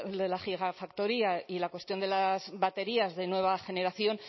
de la gigafactoría y la cuestión de las baterías de nueva generación